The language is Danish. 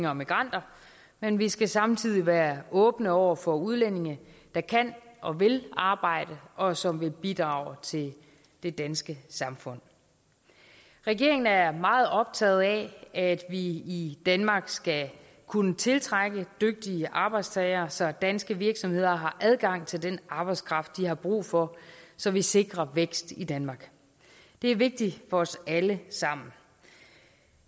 og migranter men vi skal samtidig være åbne over for udlændinge der kan og vil arbejde og som vil bidrage til det danske samfund regeringen er meget optaget af at vi i i danmark skal kunne tiltrække dygtige arbejdstagere så danske virksomheder har adgang til den arbejdskraft de har brug for så vi sikrer vækst i danmark det er vigtigt for os alle sammen